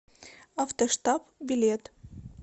автоштаб билет